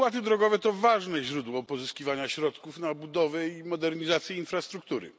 Opłaty drogowe to ważne źródło pozyskiwania środków na budowę i modernizację infrastruktury.